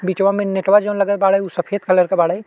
बीचवा में नेटवा जौन लगल बाड़े उ सफेद कलर के बाड़ै।